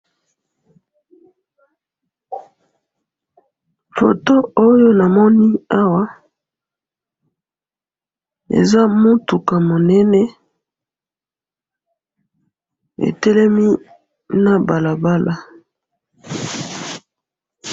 foto oyo namoni awa eza mutuka munene etelemi na balabala